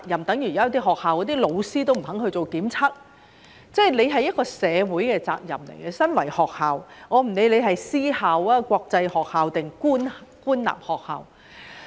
等於有些學校的老師也不肯做檢測——這是身為學校的一個社會責任，不管那是私校、國際學校還是官立學校。